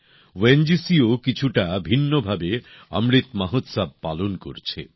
ও N G সিও কিছুটা ভিন্নভাবে অমৃত মহোৎসব পালন করছে